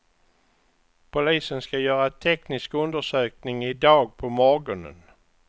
Polisen ska göra en teknisk undersökning i dag på morgonen.